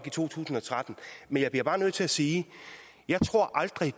i to tusind og tretten men jeg bliver bare nødt til at sige at jeg aldrig